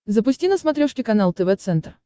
запусти на смотрешке канал тв центр